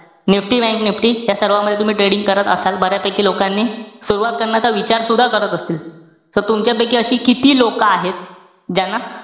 NIFTY bankNIFTY यासर्वांमधे तुम्ही trading करत असाल. बऱ्यापैकी लोकांनी सुरवात करण्याचा विचारसुद्धा करत असतील. So तुमच्यापैकी अशी किती लोकं आहेत? ज्यांना,